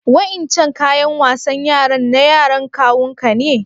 Wa'incan ƙayan wasan yaran na yaran kawun ku ne?